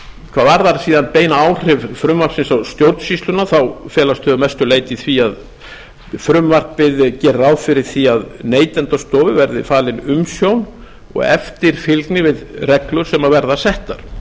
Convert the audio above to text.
hvað varðar síðan bein áhrif frumvarpsins á stjórnsýsluna felast þau að mestu leyti í því að frumvarpið gerir ráð fyrir því að neytendastofu verði falin umsjón og eftirfylgni við reglur sem verða settar